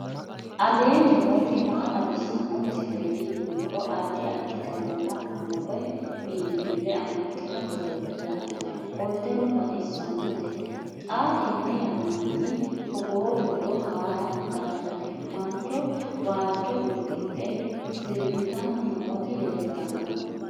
aleenni nooti maa xawisanno misileeti yinummoro addi addi dananna kuula woy biinfille amaddino footooti yaate qoltenno baxissannote xa tenne yannanni togoo footo haara danchate mancho waajjo uddidhe sirbitanni nooti leeltanno